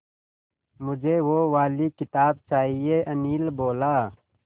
मुझे वो वाली किताब चाहिए अनिल बोला